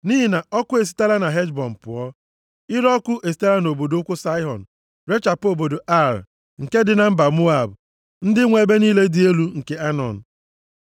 “Nʼihi na ọkụ esitela na Heshbọn pụọ. Ire ọkụ esitela nʼobodo ukwu Saịhọn, rechapụ obodo Ar, nke dị na Moab, ndị nwe ebe niile dị elu nke Anọn.